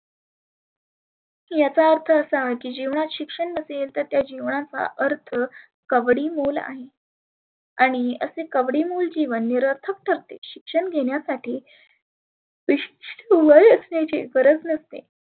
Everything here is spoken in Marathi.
याचा अर्थ असा की जिवणाची शिक्षण नसेल तर त्या जिवणाचा अर्थ कवडी मोल आहे. आणि असे कवडी मोल जिवन निरर्थक ठरते. शिक्षण घेण्यासाठी